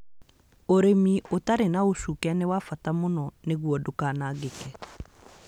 Ũrĩmi ũtarĩ na ũcuke nĩ wa bata mũno nĩguo ndũkanangĩke